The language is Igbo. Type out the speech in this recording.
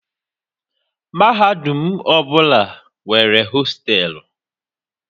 Mahadum ọbụla nwere hostelu